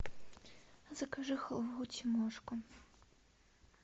закажи халву тимошка